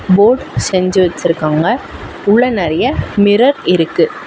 Fort செஞ்சு வச்சுருக்காங்க. உள்ள நறையா மிரர் இருக்கு.